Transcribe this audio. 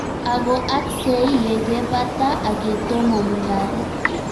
Ako aksei ye ke bata ak yetomo mungaret.